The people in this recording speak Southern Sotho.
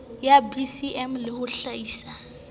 ya bcm le ho hlaisa